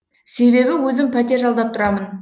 себебі өзім пәтер жалдап тұрамын